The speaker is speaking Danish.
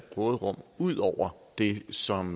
råderum ud over det som